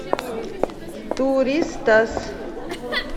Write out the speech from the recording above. туристас